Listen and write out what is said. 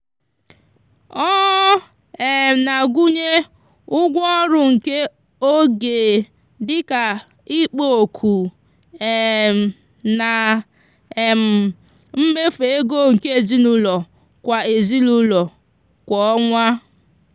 ọ um na-agụnye ụgwọ ọrụ nke oge dị ka ikpo ọkụ um na um mmefu ego nke ezinụụlọ kwa ezinụụlọ kwa ọnwa.